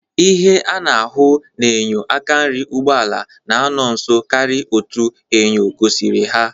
Ihe a na-ahụ n'enyo aka nri ụgbọala n'anọ nso karị otu enyo gosiri ha.